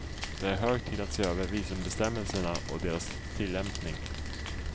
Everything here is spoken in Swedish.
Det är hög tid att se över visumbestämmelserna och deras tillämpning.